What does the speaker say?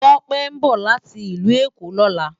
Tope nbò láti Ilù Ekó lòlá